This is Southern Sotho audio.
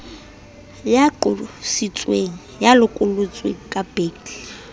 ya qositsweng ya lokollotsweng ka